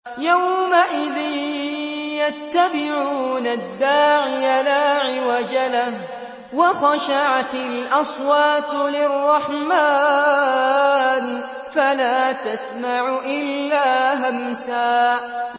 يَوْمَئِذٍ يَتَّبِعُونَ الدَّاعِيَ لَا عِوَجَ لَهُ ۖ وَخَشَعَتِ الْأَصْوَاتُ لِلرَّحْمَٰنِ فَلَا تَسْمَعُ إِلَّا هَمْسًا